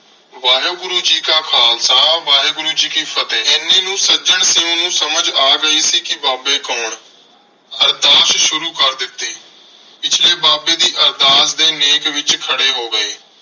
ਵਾਹਿਗੁਰੂ ਜੀ ਕਾ ਖਾਲਸਾ, ਵਾਹਿਗੁਰੂ ਜੀ ਕੀ ਫ਼ਤਿਹ। ਐਨੇ ਨੂੰ ਸੱਜਣ ਸਿੰਘ ਨੂੰ ਸਮਝ ਆ ਗਈ ਸੀ ਕਿ ਬਾਬੇ ਕੌਣ? ਅਰਦਾਸ ਸ਼ੁਰੂ ਕਰ ਦਿਤੀ ਪਿਛਲੇ ਬਾਬੇ ਦੀ ਅਰਦਾਸ ਦੇ ਨੇਕ ਵਿਚ ਖੜੇ ਹੋ ਗਏ।